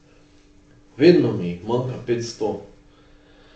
Vedno mi jih manjka petsto.